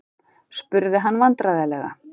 spurði hann vandræðalega.